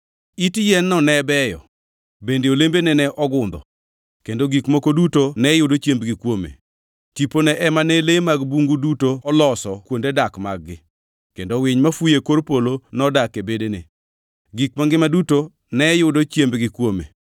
Ibiro riembi e dier ji kendo ibiro dak gi le mager; ibiro chamo lum kaka dhiangʼ, kendo thoo biro miyi ngʼich. Ma notimreni kuom higni abiriyo manyaka ingʼe ni Jal Man Malo Mogik nigi teko ewi pinjeruodhi duto, kendo ochiwogi ne ngʼato angʼata ma chunye ohero.